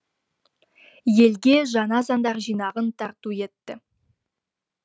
елге жаңа заңдар жинағын тарту етті